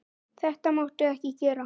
Þetta máttu ekki gera.